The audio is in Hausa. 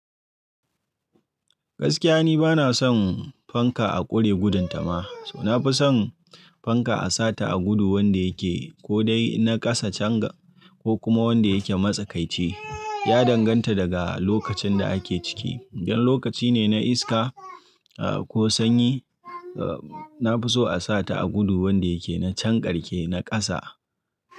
Gaskiya ni bana son fanka a ƙure gudun ta ma, so na fi son fanka a sa ta a gudu wanda yake ko dai na ƙasa can ga ko kuma wanda yake matsakaitce, ya danganta daga lokacin da ake ciki. In lokaci ne na iska ko sanyi, na fi so a sa ta a gudu wanda yake na can karke na ƙasa.